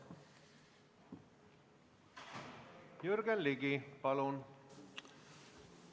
Jürgen Ligi, palun!